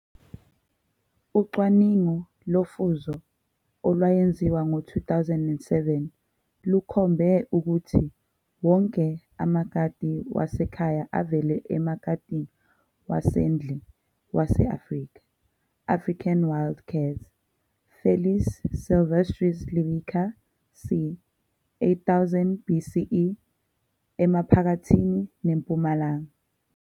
Ucwaningo lofuzo olwayenziwa ngo-2007 lukhombe ukuthi wonke amakati wasekhaya avela emakatini wasendle wase-Africa, African Wild cats, Felis silvestris lybica, c. 8000 BCE, Emaphakathi neMpumalanga.